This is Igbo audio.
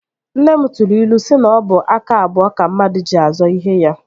Nne m tụrụ ilu si na ọ bụ aka abụọ ka mmadụ ji azọ ihe ya